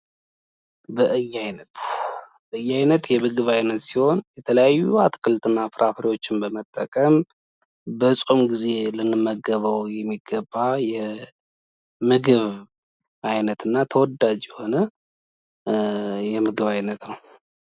የምግብ ብክነት የአካባቢንና የኢኮኖሚን ኪሳራ የሚያስከትል ዓለም አቀፍ ችግር ሲሆን መቀነስ ይኖርበታል።